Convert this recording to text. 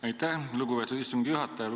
Aitäh, lugupeetud istungi juhataja!